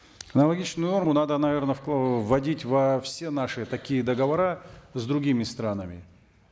аналогичную норму надо наверно э вводить во все наши такие договора с другими странами